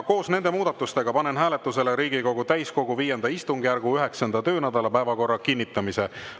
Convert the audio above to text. Koos nende muudatustega panen hääletusele Riigikogu täiskogu V istungjärgu 9. töönädala päevakorra kinnitamise.